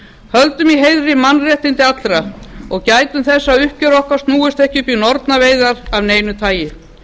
höldum í heiðri mannréttindi allra og gætum þess að uppgjör okkar snúist ekki upp í nornaveiðar af neinu tagi